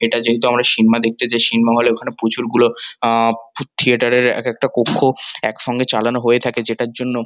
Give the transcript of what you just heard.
এটা যেহেতু আমরা সিনমা দেখতে যাই সিনমা হল -এর ওখানে প্রচুর গুলো আ থিয়েটার এক একটা কক্ষ একসঙ্গে চালানো হয়ে থাকে যেটার জন্য --